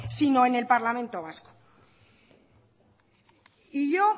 sino en el parlamento vasco y yo